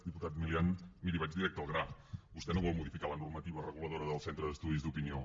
diputat milián miri vaig directe al gra vostè no vol modificar la normativa reguladora del centre d’estudis d’opinió